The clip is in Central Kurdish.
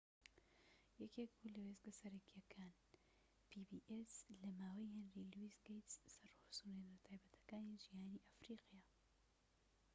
یەکێك بوو لە وێستگە سەرەکیەکان لەماوەی هێنری لویس گەیتس pbs ی سەرسورهێنەرە تایبەتیەکانی جیهانی ئەفریقا